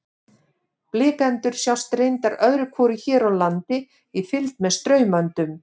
Blikendur sjást reyndar öðru hvoru hér á landi í fylgd með straumöndum.